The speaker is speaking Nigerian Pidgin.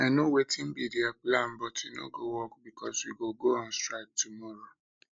i know wetin be their plan but e no go work because we go go on strike tomorrow